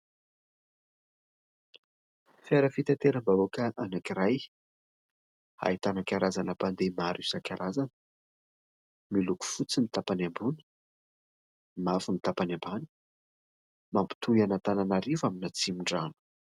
Fiara fitateram-bahoaka anankiray ahitana karazana mpandeha maro isan-karazany miloko fotsy ny tapany ambony, mavo ny tapany ambany. Mampitohy ny Antananarivo amin'ny Atsimondrano.